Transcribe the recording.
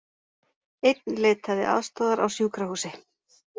Einn leitaði aðstoðar á sjúkrahúsi